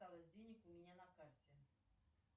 осталось денег у меня на карте